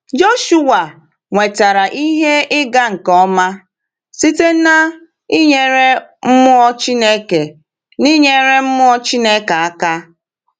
Joshuwa nwetara ihe ịga nke ọma site n’inyere mmụọ Chineke n’inyere mmụọ Chineke aka.